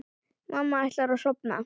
Mamma ætlar að sofna.